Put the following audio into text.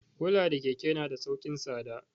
Kula da keke na da sauki tsada.